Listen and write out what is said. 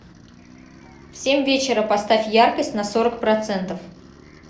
в семь вечера поставь яркость на сорок процентов